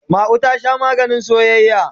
Ma'u ta Sha maganin soyayya.